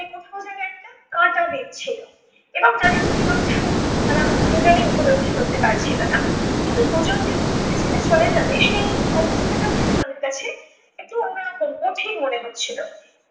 কোথাও যেন একটা কাঁচা দিক ছিল এবং তাদের মিলন সুখ তারা দুজনই উপলব্ধি করতে পারছিলো না। কিন্তু দুজন যে দুজনকে ছেড়ে চলে যাবে সেই অবস্থাটাও যেন তাদের কাছে একটু অন্যরকম কঠিন মনে হচ্ছিলো।